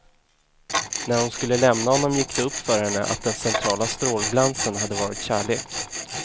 När hon skulle lämna honom gick det upp för henne att den centrala strålglansen hade varit kärlek.